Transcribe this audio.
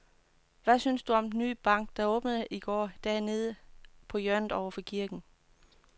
Hvad synes du om den nye bank, der åbnede i går dernede på hjørnet over for kirken?